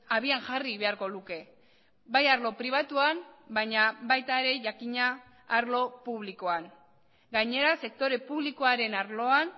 habian jarri beharko luke bai arlo pribatuan baina baita ere jakina arlo publikoan gainera sektore publikoaren arloan